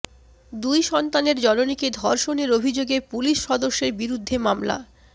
দুই সন্তানের জননীকে ধর্ষণের অভিযোগে পুলিশ সদস্যের বিরুদ্ধে মামলা